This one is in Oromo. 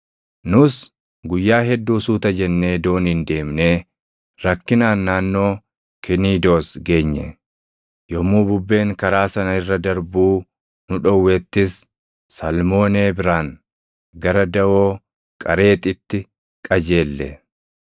Nus guyyaa hedduu suuta jennee dooniin deemnee rakkinaan naannoo Kiniidoos geenye; yommuu bubbeen karaa sana irra darbuu nu dhowwettis Salmoonee biraan gara daʼoo Qareexitti qajeelle.